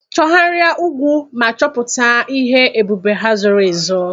Chọgharịa ugwu ma chọpụta ihe ebube ha zoro ezo.